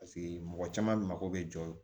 Paseke mɔgɔ caman mako bɛ jɔ